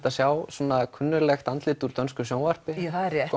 að sjá kunnuglegt andlit úr dönsku sjónvarpi það er rétt